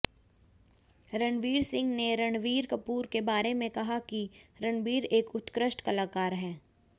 रणवीर सिंह ने रणबीर कपूर के बारे में कहा कि रणबीर एक उत्कृष्ट कलाकार हैं